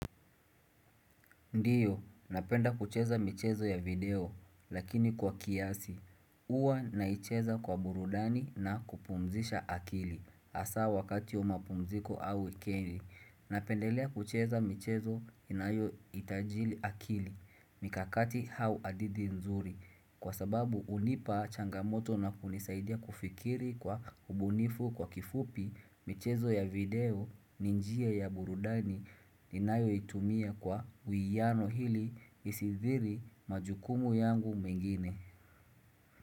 Ndio, napenda kucheza michezo ya video, lakini kwa kiasi. Uwa naicheza kwa burudani na kupumzisha akili. Asa wakati wa mapumziko au wikendi Napendelea kucheza michezo inayo itaji akili. Mikakati au hadithi nzuri. Kwa sababu unipa changamoto na kunisaidia kufikiri kwa ubunifu kwa kifupi. Michezo ya video ni njia ya burudani ninayo itumia kwa uiyano ili isithiri majukumu yangu mengine.